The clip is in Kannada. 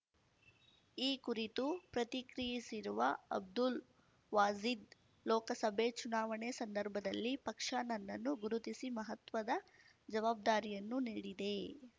ಈ ಕುರಿತು ಪ್ರತಿಕ್ರಿಯಿಸಿರುವ ಅಬ್ದುಲ್‌ ವಾಜೀದ್‌ ಲೋಕಸಭೆ ಚುನಾವಣೆ ಸಂದರ್ಭದಲ್ಲಿ ಪಕ್ಷ ನನ್ನನ್ನು ಗುರುತಿಸಿ ಮಹತ್ವದ ಜವಾಬ್ದಾರಿಯನ್ನು ನೀಡಿದೆ